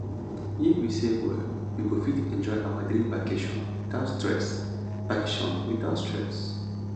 if we save well we go fit enjoy our dream vacation without stress vacation without stress